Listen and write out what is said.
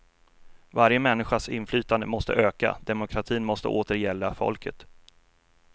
Varje människas inflytande måste öka, demokratin måste åter gälla folket.